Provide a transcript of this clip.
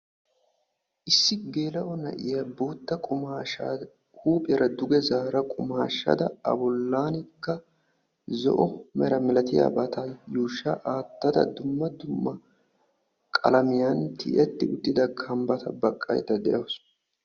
Issi geela'o na'iya bootta qumaashshaa huuphiyara duge zaara qumaashshada a bollankka zo'o mera milatiyabata yuushsha aattada dumma dumma qalamiyan tiyetti uttida kambbata baqqaydda de"awusu.